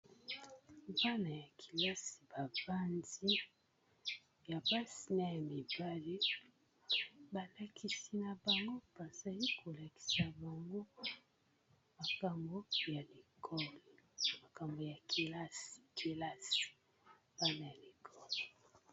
Bana ya kelasi ba vanzi ya basi na ya mibale balakisi na bango bazali kolakisa bango makambo ya école makambo ya kelasi bana ya école.